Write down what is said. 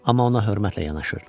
Amma ona hörmətlə yanaşırdılar.